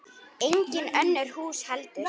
Engin önnur hús heldur.